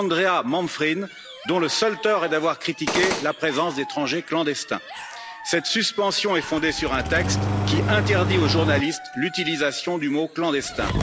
Andrea Manfrin, dont le seul tort est d'avoir critiqué la présence d'étrangers clandestins. Cette suspension est fondée sur un texte qui interdit aux journalistes l'utilisation du mot clandestin.